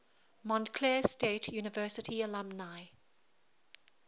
montclair state university alumni